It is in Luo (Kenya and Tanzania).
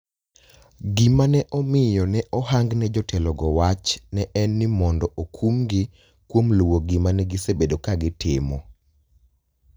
Gima ne omiyo ne ohang ne jotelogo wach ne en ni mondo okumgi kuom luwo gima ne gisebedo ka gitimo.